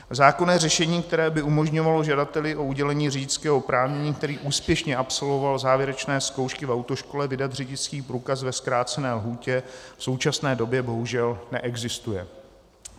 Zákonné řešení, které by umožňovalo žadateli o udělení řidičského oprávnění, který úspěšně absolvoval závěrečné zkoušky v autoškole, vydat řidičský průkaz ve zkrácené lhůtě v současné době bohužel neexistuje.